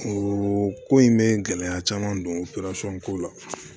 O ko in bɛ gɛlɛya caman don ko la